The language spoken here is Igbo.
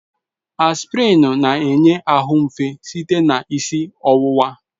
Aspirin na-enye ahụ efe site na isi ọwụwa.